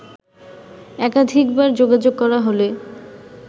একাধিকবার যোগাযোগ করা হলে